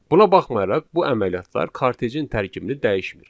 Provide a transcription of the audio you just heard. Buna baxmayaraq, bu əməliyyatlar kortejin tərkibini dəyişmir.